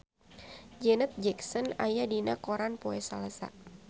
Janet Jackson aya dina koran poe Salasa